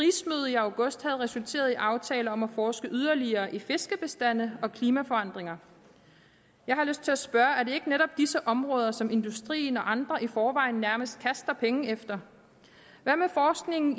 i august havde resulteret i aftaler om at forske yderligere i fiskebestande og klimaforandringer jeg har lyst til at spørge er det ikke netop disse områder som industrien og andre i forvejen nærmest kaster penge efter hvad med forskningen